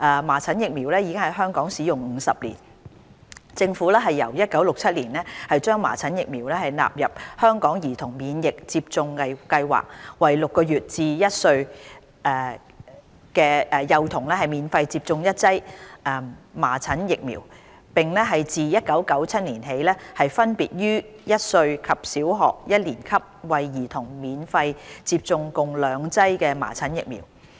麻疹疫苗已在香港使用約50年，政府由1967年將麻疹疫苗納入香港兒童免疫接種計劃，為6個月至1歲的幼童免費接種一劑麻疹疫苗，並自1997年起分別於1歲及小學一年級為兒童免費接種共兩劑麻疹疫苗。